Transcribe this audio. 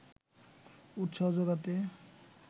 উৎসাহ জোগাতে